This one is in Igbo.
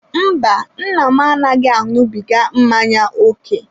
Mba, nna m anaghị aṅụbiga mmanya ókè